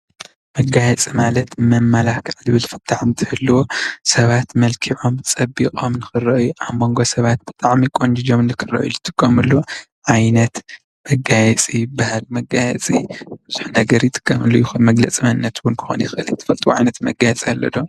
መጋየፂ ማለት መመላኽዒ ዝብል ፍታሕ እንትህልዎ ሰባት መልኪዖምን ፀቢቆምን ንኽርኣዩ ኣብ ሞንጎ ሰባት ብጣዕሚ ቆንጅጆም ንኽርኣዩ ዝጥቀሙሉ ዓይነት መጋየፂ ይበሃል። መጋየፂ ቡዙሕ ነገር ይጥቀሙሉ ከም መግለፂ መንነት እዉን ከኾን ይኽእል እዩ። ንስኻትኩም ከ ትፈልጥዎ ዓይነት መጋየፂ ኣሎ ዶ?